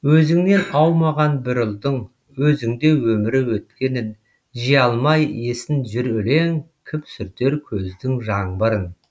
өзіңнен аумаған бір ұлдың өзіңде өмірі өткенін жия алмай есін жүр өлең кім сүртер көздің жаңбырын